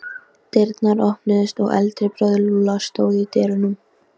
Dyrnar opnuðust og eldri bróðir Lúlla stóð í dyrunum.